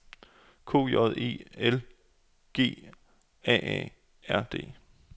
K J E L G A A R D